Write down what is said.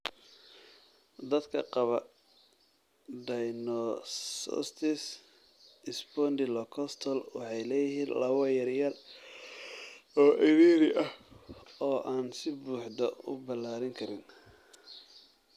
Dhallaanka qaba dysostosis spondylocostal waxay leeyihiin laabo yaryar oo cidhiidhi ah oo aan si buuxda u ballaarin karin.